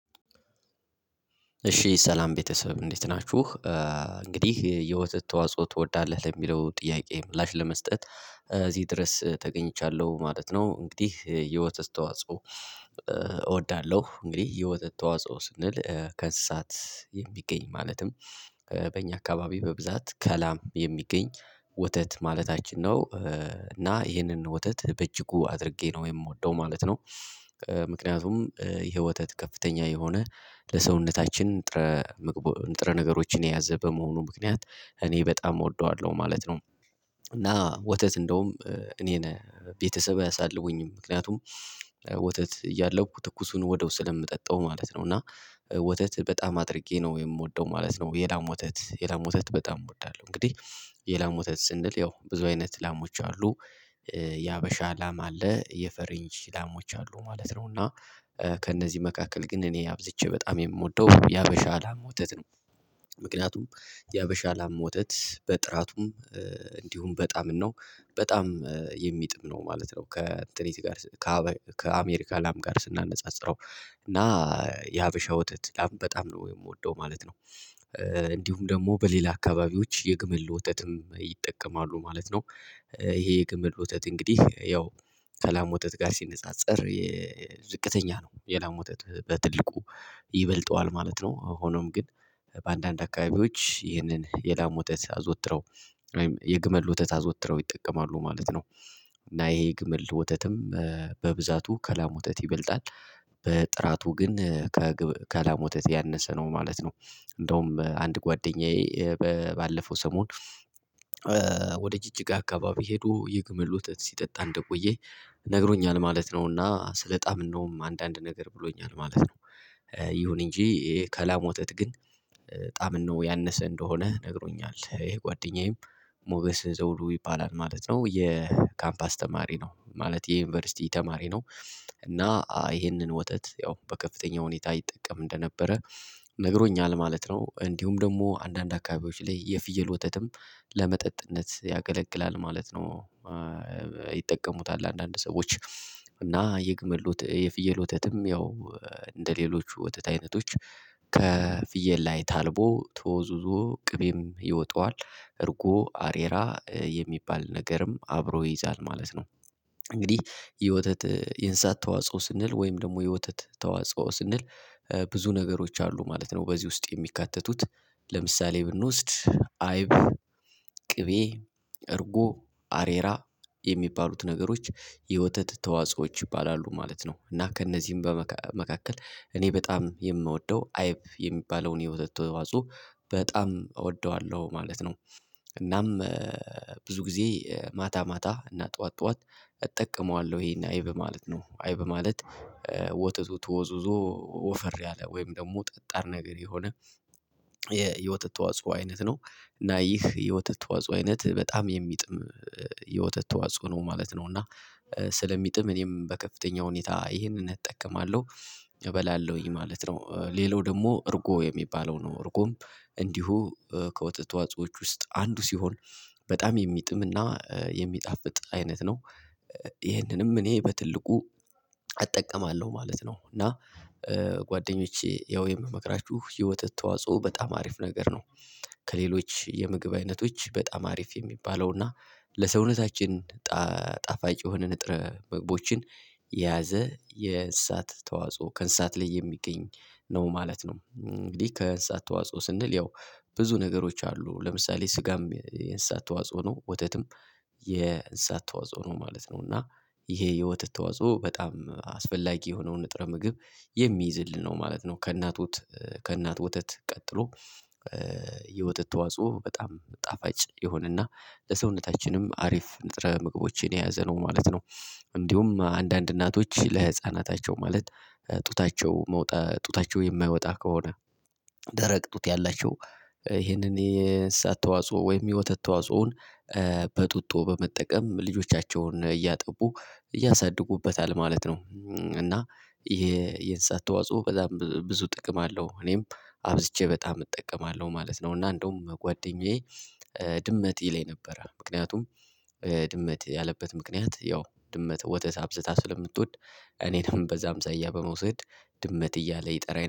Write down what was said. እሺ ሰላም ቤተሰብ እንዴት ናችሁ። እንግዲህ የወተት ተዋጽኦ ትወዳለህ ለሚለው ጥያቄ ምላሽ ለመስጠት እዚህ ድረስ ተገኝቻለሁ ማለት ነው። እንግዲህ የወተት ተዋጽኦ እወዳለሁ። እንግዲህ የወተት ተዋጽኦ ስንል ከእንስሳት የሚገኝ ማለትም በእኛ አካባቢ በብዛት ከላም የሚገኝ ወተት ማለታችን ነው። እና ይህንን ወተት በእጅጉ አድርጌ ነው የምወደው ማለት ነው። ምክንያቱም ይሄ ወተት ከፍተኛ የሆነ ለሰውነታችን ንጥረ ምግቦ ንጥረ ነገሮችን የያዘ በመሆኑ ምክንያት እኔ በጣም እወደዋለሁ ማለት ነው። እና ወተት እንደውም እኔን ቤተሰብ አያሳልቡኝም ምክንያቱም ወተት እያለሁ ትኩሱን ወዲያው ስለምጠጣው ማለት ነው። እና ወተት በጣም አድርጌ ነው የምወደው ማለት ነው። የላም ወተት የላሞ ወተት በጣም እወዳለሁ። እንግዲህ የላሞ ወተት ስንል ያው ብዙ አይነት ላሞች አሉ። የሀበሻ ላም አለ የፈረንጅ ላማዎች አሉ ማለት ነው። እና ከእነዚህ መካከል ግን እኔ አብዝቼ በጣም የምወደው የሀበሻ ላም ወተት ነው። ምክንያቱም የሀበሻ ላም ወተት በጥራቱም እንዲሁም በጣም ነው በጣም የሚጥም ነው ማለት ነው። ከእንትን ጋር ከአሜሪካ ላም ጋር ስናነጻጽረው እና የሀበሻ ወተት ላም በጣም ነው የምወደው ማለት ነው። እንዲሁም ደግሞ በሌላ አካባቢዎች የግመል ወተትም ይጠቀማሉ ማለት ነው። ይሄ የግመል ወተት እንግዲህ ያው ከላም ወተት ጋር ሲነጻጸር ዝቅተኛ ነው የላም ወጥት በትልቁ ይበልጠዋል ማለት ነው። ሆኖም ግን በአንዳንድ አካባቢዎች ይህንን የላም ወተት አዘውትረው የግመል ወተት አዘውትረው ይጠቀማሉ ማለት ነው። እና ይሄ የግመል ወተትም በብዛቱ ከላም ወተት ይበልጣል። በጥራቱ ግን ከላም ወተት ያነሰ ነው ማለት ነው። እንደውም አንድ ጓደኛዬ ባለፈው ሰሞን ወደ ጅጅጋ አካባቢ ሄዶ የግመል ወተት ሲጠጣ እንደቆየ ነግሮኛል ማለት ነውና ስለጣመነውም አንዳንድ ነገር ብሎኛል ማለት ነው። ይሁን እንጂ ከላሞ ወተት ግን ጣዕም ነው ያነሰ እንደሆነ ነግሮኛል ይሄ ጓደኛዬም ሞገስ ዘውዱ ይባላል ማለት ነው። የካምፓስ ተማሪ ነው ማለቴ የዩኒቨርሲቲ ተማሪ ነው። እና ይሄንን ወተት ያው በከፍተኛ ሁኔታ ይጠቀም እንደነበረ ነግሮኛል ማለት ነው። እንዲሁም ደግሞ አንዳንድ አካባቢዎች ላይ የፍየል ወተትም ለመጠጥነት ያገለግላል ማለት ነው። ይጠቀሙታል አንዳንድ ሰዎች እና የግመል ወት የፍየል ወተትም ያው እንደሌሎች የወተት አይነቶች ከፍየል ላይ ታልቦ ተወዝውዞ ቅቤም ይወጠዋል እርጎ አሬራ የሚባል ነገርም አብሮ ይይዛል ማለት ነው። እንግዲህ የወተት የእንስሳት ተዋጽኦ ስንል ወይም ደግሞ የወተት ተዋጽኦ ስንል ብዙ ነገሮች አሉ ማለት ነው። በዚህ ውስጥ የሚካተቱት ለምሳሌ ብንወስድ አይብ ቅቤ እርጎ አሬራ የሚባሉት ነገሮች የወተት ተዋጾኦዎች ይባላሉ ማለት ነው። እና ከእነዚህም መካከል እኔ በጣም የምወደው አይብ የሚባለውን የወተት ተዋጽኦ በጣም እወደዋለሁ ማለት ነው። እናም ብዙ ጊዜ ማታ ማታ እና ጠዋት ጠዋት እጠቀመዋለሁ ይሄን አይብ ማለት ነው። አይብ ማለት ወተቱ ተወዝውዞ ወፈር ያለ ወይም ደግሞ ጠጣር ነገር የሆነ የወተት ተዋጻኦ አይነት ነው። እና ይህ የወተት ተዋጽኦ አይነት በጣም የሚጥም የወተት ተዋጽኦ ነው ማለት ነው። እና ስለሚጥም እኔም በከፍተኛ ሁኔታ ይሄንን እጠቀማለሁ እበላለሁኝ ማለት ነው። ሌላው ደግሞ እርጎ የሚባለው ነው እርጎም እንዲሁ ከወተት ተዋጽኦዎች ውስጥ አንዱ ሲሆን በጣም የሚጥምና የሚጣፍጥ አይነት ነው። ይህንንም እኔ በትልቁ እጠቀማለሁ ማለት ነው። እና ጓደኞቼ ያው የምመክራችሁ የወተት ተዋጽኦ በጣም አሪፍ ነገር ነው። ከሌሎች የምግብ አይነቶች በጣም አሪፍ የሚባለው እና ለሰውነታችን ጣፋጭ የሆነ ንጥረ ምግቦችን የያዘ የእንስሳት ተዋጽኦ ከእንስሳት ላይ የሚገኝ ነው ማለት ነው። እንግዲህ ከእንስሳት ተዋጽኦ ስንል ያው ብዙ ነገሮች አሉ ለምሳሌ ስጋም የእንስሳት ተዋጽኦ ነው ወተትም የእንስሳት ተዋጽኦ ነው ማለት ነው። እና ይሄ የወተት ተዋጽኦ በጣም አስፈላጊ የሆነውን ንጥረ ምግብ የሚይዝልን ነው ማለት ነው። ከእናት ወት ከእናት ወተት ቀጥሎ የወተት ተዋጽኦ በጣም ጣፋጭ የሆነና ለሰውነታችንም አሪፍ ንጥረ ምግቦችን የያዘ ነው ማለት ነው። እንዲሁም አንዳንድ እናቶች ለህፃናታቸው ማለት ጡታቸው መውጣ ጡታቸው የማይወጣ ከሆነ ደረቅ ጡት ያላቸው ይሄንን የእንስሳት ተዋጽኦ ወይም የወተት ተዋጽኦን በጡጦ በመጠቀም ልጆቻቸውን እያጠቡ ያሳድጉበታል ማለት ነው። እና የእንስሳት ተዋጽኦ በጣም ብዙ ጥቅም አለው እኔም አብዝቼ በጣም እጠቀማለሁ ማለት ነው። እና እንደውም ጓደኛዬ ድመት ይለኝ ነበረ። ምክንያቱም ድመት ያለበት ምክንያት ያው ድመት ወተት አብዝታ ስለምትወድ እኔን በዛ አምሳያ በመውሰድ ድመት እያለ ይጠራኝ